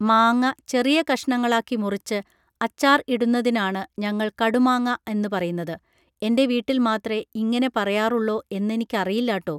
മാങ്ങ ചെറിയ കഷ്ണങ്ങളാക്കി മുറിച്ച് അച്ചാർ ഇടുന്നതിനാണ് ഞങ്ങൾ കടുമാങ്ങാ എന്ന് പറയുന്നത് എന്റെ വീട്ടിൽ മാത്രേ ഇങ്ങനെ പറയാറുള്ളോ എന്നെനിക്കറീല്ലാട്ടോ